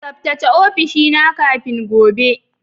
Tsaftace ofishina kafin gobe